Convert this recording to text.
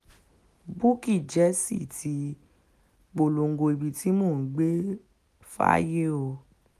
bukky jesse ti um polongo ibi tí mò ń gbé fáyé um o